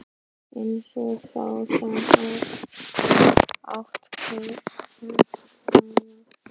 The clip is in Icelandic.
Eins og sá sem át kertavaxið.